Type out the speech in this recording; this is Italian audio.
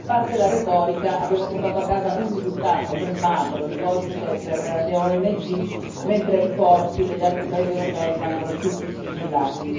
a parte la retorica, abbiamo portato a casa un risultato ben magro, il codice per le ONG, mentre i porti degli altri paesi europei rimangono tutti sigillati.